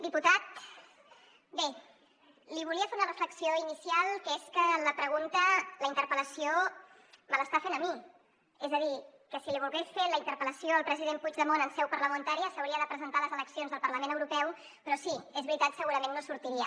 diputat bé li volia fer una reflexió inicial que és que la pregunta la interpel·lació me l’està fent a mi és a dir que si li volgués fer la interpel·lació al president puigdemont en seu parlamentària s’hauria de presentar a les eleccions del parlament europeu però sí és veritat segurament no sortiria